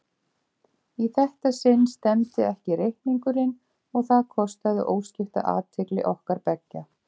Í þetta sinn stemmdi ekki reikningurinn og það kostaði óskipta athygli okkar beggja.